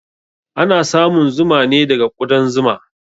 Ana samun zuma ne daga ƙudan zuma.